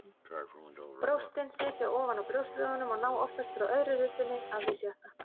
Brjóstin sitja ofan á brjóstvöðvunum og ná oftast frá öðru rifbeini að því sjötta.